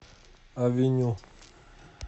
авеню